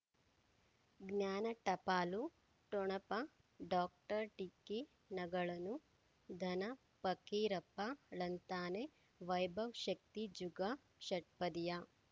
ಜ್ಞಾನ ಟಪಾಲು ಠೊಣಪ ಡಾಕ್ಟರ್ ಢಿಕ್ಕಿ ಣಗಳನು ಧನ ಪಕೀರಪ್ಪ ಳಂತಾನೆ ವೈಭವ್ ಶಕ್ತಿ ಝಗಾ ಷಟ್ಪದಿಯ